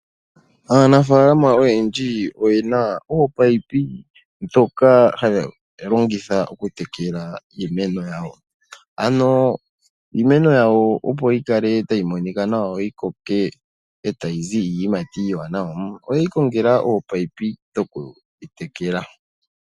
Aanafaalama oyendji oyena oopaipi ndhoka hadhi longithwa okutekela iimeno yawo . Ano iimeno yawo opo yikale tayi monika nawa yikoke , etayi zi iiyimati iiwanawa , oyeyi kongela ominino dhokudhi tekela.